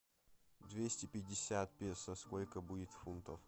двести пятьдесят песо сколько будет фунтов